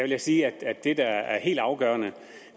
jeg sige at det der er helt afgørende